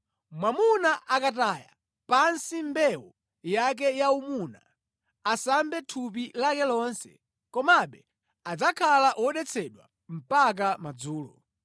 “ ‘Mwamuna akataya pansi mbewu yake yaumuna, asambe thupi lake lonse. Komabe adzakhala wodetsedwa mpaka madzulo.